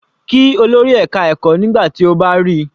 Kí olórí ẹka ẹ̀kọ́ nígbà tí o bá ríi.